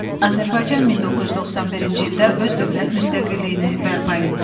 Azərbaycan 1991-ci ildə öz dövlət müstəqilliyini bərpa etdi.